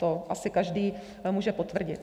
To asi každý může potvrdit.